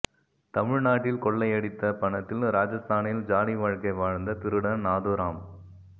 தமிழ்நாட்டில் கொள்ளையடித்த பணத்தில் ராஜஸ்தானில் ஜாலி வாழ்க்கை வாழ்ந்த திருடன் நாதுராம்